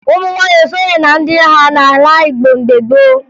Ụmụ nwaanyị esoghi na ndị agha n'ala Igbo mgbe gboo